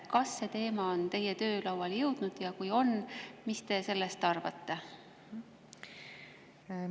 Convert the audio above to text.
Kas see teema on teie töölauale jõudnud ja kui on, siis mis te sellest arvate?